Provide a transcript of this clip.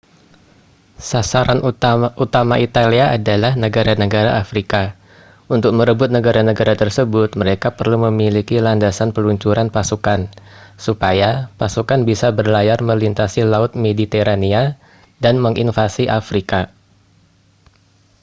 sasaran utama italia ialah negara-negara afrika untuk merebut negara-negara tersebut mereka perlu memiliki landasan peluncuran pasukan supaya pasukan bisa berlayar melintasi laut mediterania dan menginvasi afrika